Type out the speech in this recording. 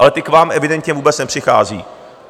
Ale ty k vám evidentně vůbec nepřichází.